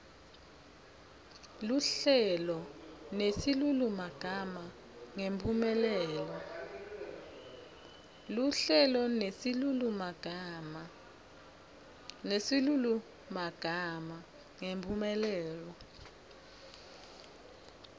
luhlelo nesilulumagama ngemphumelelo